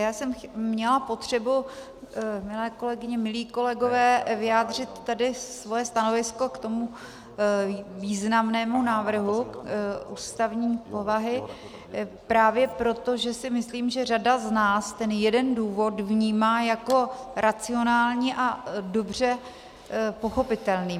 Já jsem měla potřebu, milé kolegyně, milí kolegové, vyjádřit tedy svoje stanovisko k tomu významnému návrhu ústavní povahy právě proto, že si myslím, že řada z nás ten jeden důvod vnímá jako racionální a dobře pochopitelný.